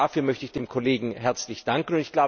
Auch dafür möchte ich dem Kollegen herzlich danken.